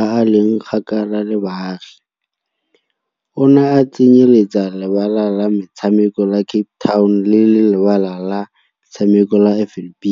a a leng kgakala le baagi, ona a tsenyeletsa Lebala la Metshameko la Cape Town le Lebala la Metshameko la FNB.